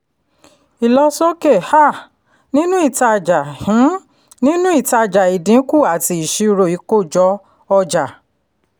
ìlọsókè um nínú ìtajà um nínú ìtajà ìdínkù àti ìṣirò ìkójọ-ọjà